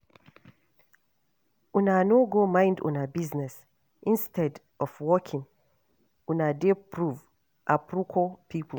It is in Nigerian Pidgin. Una no go mind una business, instead of working una dey probe, aproko people